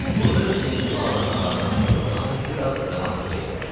Burada Hüseynqulu ağa nahardan sonra uzanıb bir az rahatlıq eləyərdi.